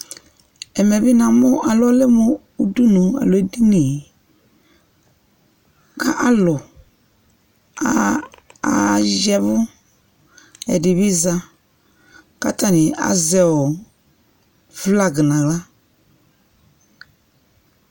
Ɛmɛ bɩ namʋ ɔlɛ mʋ ʋdʋnʋ alo edinɩ kalʋ ayavʋ ɛdɩbi za katanɩ azɛ ɔ flag naɣla